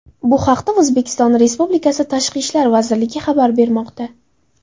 Bu haqda O‘zbekiston Republikasi Tashqi ishlar vazirligi xabar bermoqda .